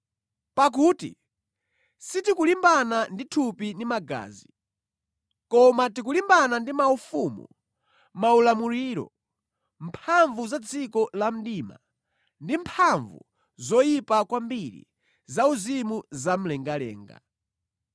Pakuti sitikulimbana ndi thupi ndi magazi, koma tikulimbana ndi maufumu, maulamuliro, mphamvu za dziko la mdima, ndi mphamvu zoyipa kwambiri zauzimu zamlengalenga.